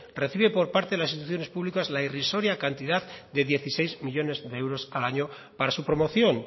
recibe por parte de las instituciones públicas la irrisoria cantidad de dieciséis millónes de euros al año para su promoción